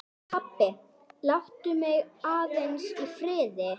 Baróninn virtist þó gefa þeim lítinn gaum.